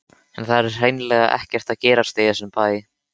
En það er hreinlega ekkert að gerast í þessum bæ.